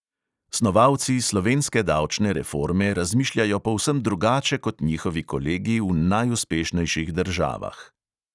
Snovalci slovenske davčne reforme razmišljajo povsem drugače kot njihovi kolegi v najuspešnejših državah.